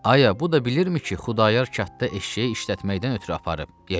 Ay, bu da bilirmi ki, Xudayar kəndə eşşəyi işlətməkdən ötrü aparıb, ya yox?